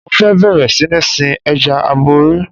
Mo fẹ́ bẹ̀rẹ̀ sí ní sin Ẹja aborí.